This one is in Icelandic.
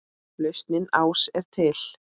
Lausnin ás er til.